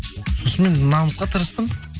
сосын мен намысқа тырыстым